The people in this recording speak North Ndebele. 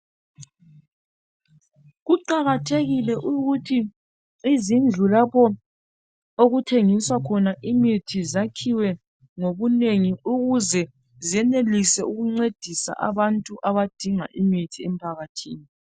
kuqakathekile ukuthi izindlu lapho okuthengiswa khona imithi zakhiwe ngobunengi ukuze zenelise ukungcedisa abantu abadinga imithi emphakathini